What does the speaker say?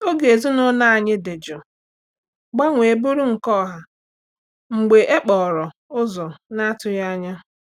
Oge ezinụlọ anyị dị jụụ gbanwee bụrụ nke ọha mgbe e kpọrọ ụzọ na-atụghị anya.